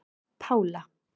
Pála